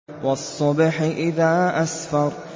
وَالصُّبْحِ إِذَا أَسْفَرَ